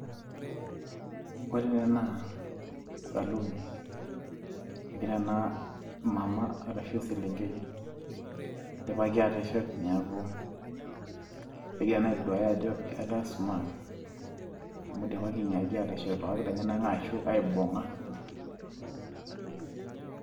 kore ena naa saluun. egira ena mama arashu eselenkei, idipai aateshet neeku, kegira ena aitoduuaya ajo kisumaat. amu idipaki aatshet irpapit lenyenak aibung'a.